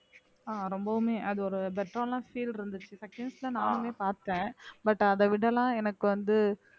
அஹ் ரொம்பவுமே அது ஒரு better ஆன feel இருந்துச்சு seconds ல நானுமே பார்த்தேன் but அதை விட எல்லாம் எனக்கு வந்து